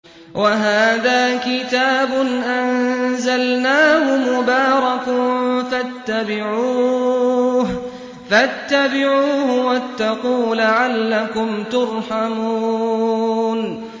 وَهَٰذَا كِتَابٌ أَنزَلْنَاهُ مُبَارَكٌ فَاتَّبِعُوهُ وَاتَّقُوا لَعَلَّكُمْ تُرْحَمُونَ